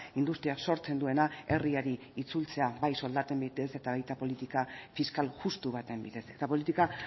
industriak sortzen duena herriari itzultzea bai soldaten bidez eta baita politika fiskal justu baten bidez eta politika